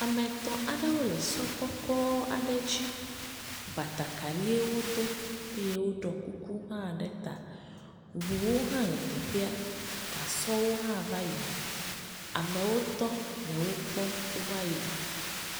Ame etɔ̃ aɖewo le sɔ kɔkɔ aɖe dzi, batakarie wo do, eye wo ɖɔ kuku hã ɖe ta, ʋuwo hã le teƒea, gasɔwo hã va yi na, amewo tɔ le wo kpɔm wo va yi na.